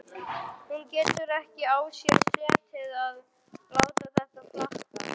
Hún getur ekki á sér setið að láta þetta flakka.